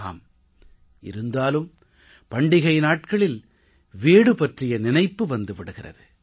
ஆம் இருந்தாலும் பண்டிகை நாட்களில் வீடு பற்றிய நினைப்பு வந்து விடுகிறது